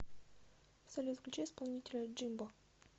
салют включи исполнителя джимбо